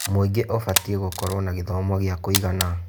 Mũingĩ ũbatĩĩ gũkorwo na gĩthomo gĩa kũigana.